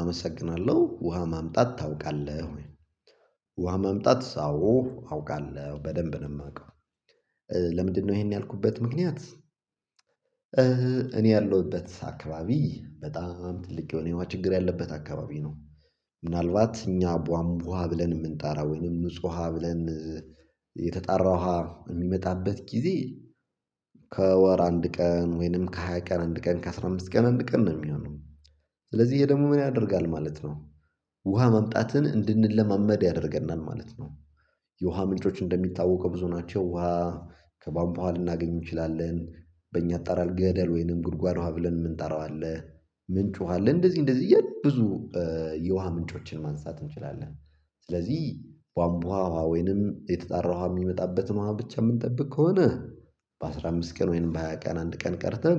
አመሰግናለሁ ውሃ ማምጣት ታውቃለህ ወይ? ውሃ ማምጣት አዎ አውቃለህ በደንብ ነው የማውቀው። ለምንድነው ይሄን ያልኩበት ምክንያት? እኔ ያለሁበት አካባቢ በጣም ትልቅ የሆነ የውሃ ችግር ያለበት አካባቢ ነው። ምናልባት እኛ ቧንቧ ውሃ ብለን የምንጣራ ወይንም ንጹህ ውሃ ብለን የተጣራ ውሃ የሚመጣበት ጊዜ ከወር አንድ ቀን ወይንም ከሃያ ቀን አንድ ቀን ከአስራ አምስት ቀን አንድ ቀን ነው የሚሆነው። ስለዚህ ይሄ ደግሞ ምን ያደርጋል ማለት ነው። ውሃ መምጣትን እንድንለማመድ ያደርገናል ማለት ነው። የውሃ ምንጮች እንደሚታወቀው ብዙ ናቸው። ውሃ ከቧንቧ ልናገኝ እንችላለን በእኛ አጠራር ገደል ወይንም ጉድጓድ ውሃ ብለን የምንጠራው አለ። ምንጭ ውሃ አለ እንደዚህ እንደዚህ እያለ ብዙ የውሃ ምንጮችን ማንሳት እንችላለን። ስለዚህ ቧንቧ ወይንም የተጠራው የሚመጣበት ነው ብቻ የምንጠብቅ ከሆነ። በአሥራ አምስት ቀን ወይም በሃያ ቀን አንድ ቀን ቀድተን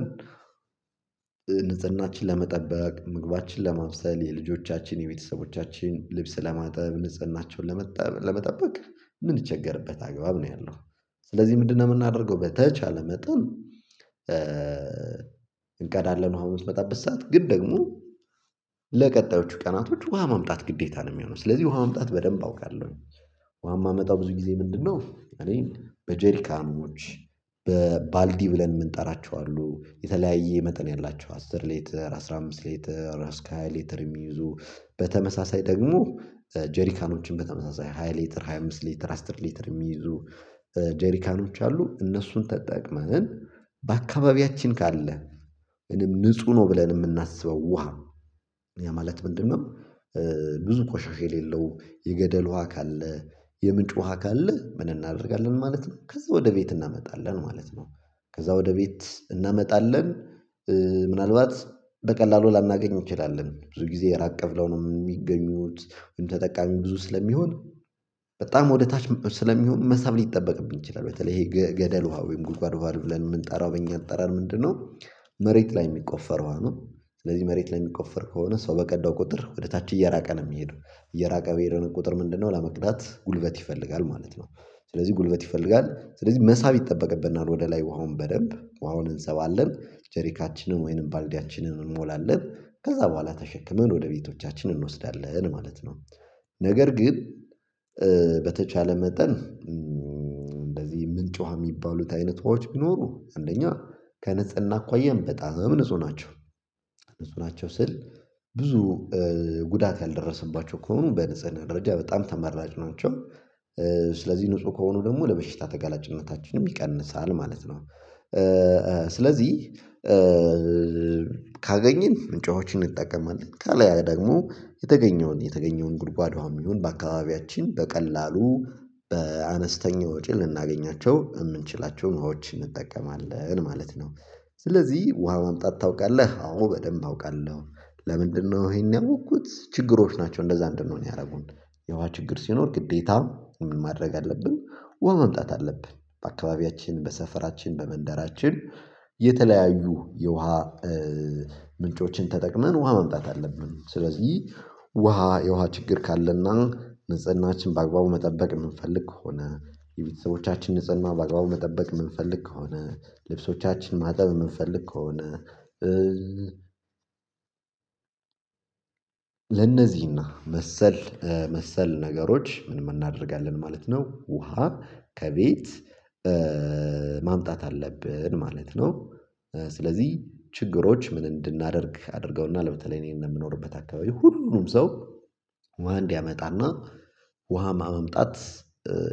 ንጽህናችን ለመጠበቅ ምግባችን ለመውሰድ የልጆቻችን የቤተሰቦቻችን ልብስ ለማጠብ ንጽህናቸውን ለመጠበቅ ምንቸገርበታል አግባብ ነው ያለው። ስለዚህ ምንድነው የምናደርገው በተቻለ መጠን እንቀዳለን ውሃ የምትመጣበት ሰዓት ግን ደግሞ ለቀጣዮቹ ቀናቶች ውሃ ማምጣት ግዴታ ነው የሚሆነው ስለዚህ ውሃ መምጣት በደንብ አውቃለሁ። ውሃ የማመጣው ብዙ ጊዜ ምንድነው እኔ በጀሪካኖች በባልዲ ብለን የምንጠራቸው አሉ የተለያየ መጠን ያላቸው አስር ሌትር አስራ አምስት ሌትር ራስካይ ሌትር የሚይዙ በተመሳሳይ ደግሞ ጄሪካኖችን በተመሳሳይ ሃያ ሌትር ሃያ አምስት ሌትር አስራ ሌትር የሚይዙ። ጄሪካኖች አሉ እነሱን ተጠቅመን በአካባቢያችን ካለ ምንም ንጹህ ነው ብለን የምናስበው ውሃ ነው። ያ ማለት ምንድነው? ብዙ ቆሻሽ የሌለው የገደል ውሃ ካለ የምንጭ ውሃ ካለ ምን እናደርጋለን ማለት ነው። ከዛ ወደ ቤት እናመጣለን ማለት ነው። ከዛ ወደ ቤት እናመጣለን። ምናልባት በቀላሉ ላናገኝ እንችላለን ብዙ ጊዜ ራቀብለው ነው የሚገኙት ግን ተጠቃሚ ብዙ ስለሚሆን በጣም ወደ ታች ስለሚሆን መሳብ ሊጠበቅብኝ ይችላል። በተለይ ይሄ ገደል ውሃ ወይም ጉድጓድ ብለን የምንጠራው በእኛ አጠራር ምንድነው? መሬት ላይ የሚቆፈረው ነው ስለዚህ መሬት ላይ የሚቆፈር ከሆነ ሰው በቀዳው ቁጥር ወደታች እየራቀ ነው የሚሄደው። እየራቀ በሄደን ቁጥር ምንድነው ለመቅዳት ጉልበት ይፈልጋል ማለት ነው። ስለዚህ ጉልበት ይፈልጋል ስለዚህ መሳብ ይጠበቅብናል ወደ ላይ ውሃውን በደንብ ውሃውን እንስባለን ጀሪካችንን ወይንም ባልዲያችንን እንሞላለን ከዛ በኋላ ተሸክመን ወደ ቤቶቻችን እንወስዳለን ማለት ነው። ነገር ግን። በተቻለ መጠን እንደዚህ ምንጮች የሚባሉት አይነት ተዋዎች ቢኖሩ አንደኛ ከነጽና አኳያም በጣም ንጹህ ናቸው። ንጹህ ናቸው ስል ብዙ ጉዳት ያልደረሰባቸው ከሆኑ በንፅህ ደረጃ በጣም ተመራጭ ናቸው። ስለዚህ ንጹህ ከሆኑ ደግሞ ለበሽታ ተጋላጭነታችንም ይቀንሳል ማለት ነው። ስለዚህ ካገኘን ምጮችን እንጠቀማለን ከላይ ደግሞ የተገኘውን የተገኘውን ጉድጓዷም ይሁን በአካባቢያችን በቀላሉ በአነስተኛ ወጪ ልናገኛቸው የምንችላቸውን ውሃዎች እንጠቀማለን ማለት ነው። ስለዚህ ውሃ ማምጣት ታውቃለህ? አዎ በደንብ አውቃለሁ። ለምንድነው ይሄን ያወቅኩት? ችግሮች ናቸው እንደዛ እንድንሆን ያደረጉን የውሃ ችግር ሲኖር ግዴታውን ምን ማድረግ አለብን ወን መምጣት አለብን በአካባቢያችን በሰፈራችን በመንደራችን። የተለያዩ የውሃ ምንጮችን ተጠቅመን ውሃ መምጣት አለብን። ስለዚህ ውሃ የውሃ ችግር ካለና ንጽህናችን በአግባቡ መጠበቅ የምንፈልግ ከሆነ የቤተሰቦቻችንን ንጽህና በአግባቡ መጠበቅ የምንፈልግ ከሆነ ልብሶቻችን ማጠብ የምንፈልግ ከሆነ ለነዚህና መሰል መሰል ነገሮች ምንም እናደርጋለን ማለት ነው። ውሃ ከቤት ማምጣት አለብን ማለት ነው። ስለዚህ ችግሮች ምን እንድናደርግ አድርገውና በተለይ እኔን ነው የምኖርበት አካባቢ ሁሉንም ሰው ውሃ እንዲያመጣና ውሃ ማምጣት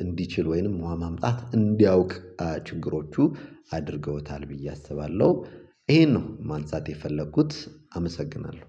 እንዲችል ወይንም መማመጣት እንዲያውቅ ችግሮቹ አድርገውታል ብዬ አስባለሁ። ይሄን ነው ማንሳት የፈለኩት አመሰግናለሁ።